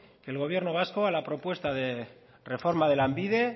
que el gobierno vasco a la propuesta de reforma de lanbide